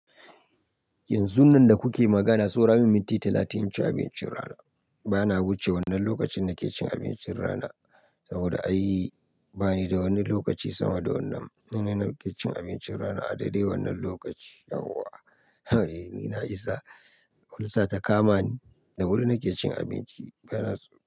Yanzu nan da kuke magana, so ramin minti talatin inci abincin rana. Bana wuce wannan lokacin nake cin abincin rana, saboda ai bayida wani lokaci sama da wannan. Nan nake cin abincin rana a daidai wannan lokaci. Yauwa eh, ni na isa. Ulcer ta kamani. Da wuri nake cin abinci, bana tso.